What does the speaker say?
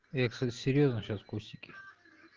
я серьёзно сейчас кустики